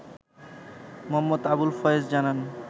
মো. আবুল ফয়েজ জানান